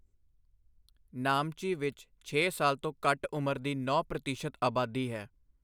ਨਾਮਚੀ ਵਿੱਚ, ਛੇ ਸਾਲ ਤੋਂ ਘੱਟ ਉਮਰ ਦੀ ਨੌਂ ਪ੍ਰਤੀਸ਼ਤ ਆਬਾਦੀ ਹੈ।